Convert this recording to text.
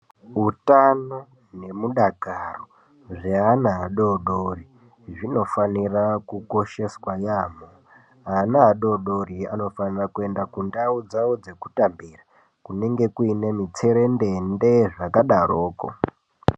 Utano ne mudakaro zveana adodori zvinofanira kukosheswa yambo. Vana adodori anofanira kuenda kundau dzawo dzekutambira kunenge kuine mitserendende zvakadaroko.